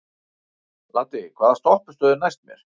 Laddi, hvaða stoppistöð er næst mér?